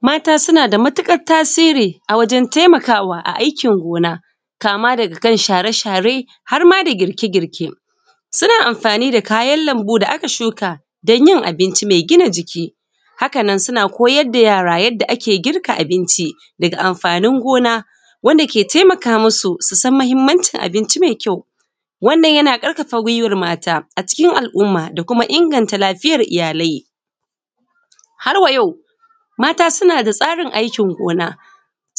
mata suna da matuƙar tasiri a wajen taimakawa a aikin gona kama daga kan share share har ma da girke girke suna amfani da kayan lambu da aka shuka don yin abinci mai gina jiki haka nan suna koyar da yara yadda ake girka abinci daga amfanin gona wanda ke taimaka musu su san mahimmancin abinci mai kyau wannan yana ƙarfafa guiwar mata a cikin al’umma da kuma inganta lafiyar iyalai har wa yau mata suna da tsarin aikin gona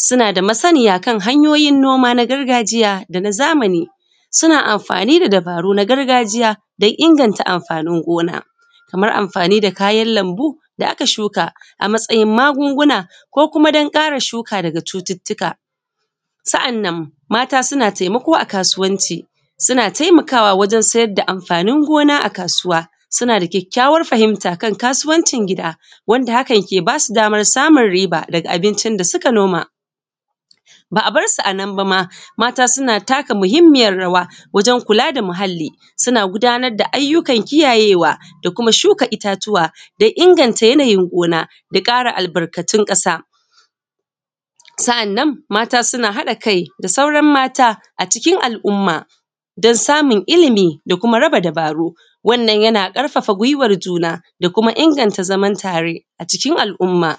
suna da masaniya a kan hanyoyin noma na gargajiya da na zamani suna amfani da dabaru na gargajiya don inganta amfanin gona kamar amfani da kayan lambu da aka shuka a matsayin magunguna ko kuma don ƙara shuka daga cututtuka sa’annan mata suna taimako a kasuwanci suna tamakawa wajen siyar da amfanin gona a kasuwa suna da kyakykyawar fahimta a kan kasuwancin gida wanda hakan ke ba su damar samun riba daga abincin da suka noma ba a bar su a nan ba ma mata suna taka muhimmiyar rawa wajen kula da muhalli suna gudanar da ayyukan kiyaye wa da kuma shuka itatuwa da inganta yanayin gona da ƙara albarkatun ƙasa sa’annan mata suna haɗa kai da sauran mata a cikin al’umma don samun ilimi da kuma raba dabaru wannan yana ƙarfafa guiwar juna da kuma inganta zaman tare a cikin al’umma